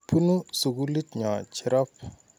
Punu sukulit nyo Cherop.